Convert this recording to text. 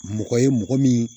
Mɔgɔ ye mɔgɔ min